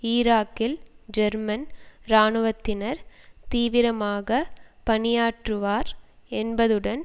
ஈராக்கில் ஜெர்மன் இராணுவத்தினர் தீவிரமாக பணியாற்றுவர் என்பதுடன்